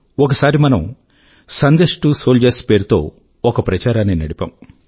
ఒకసారి మనము Sandesh to soldiers పేరుతో ఒక ప్రచారాన్ని నడిపాము